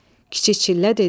Kiçik çillə dedi: